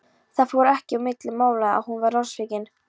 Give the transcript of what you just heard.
Það fór ekki á milli mála að hún var vonsvikin.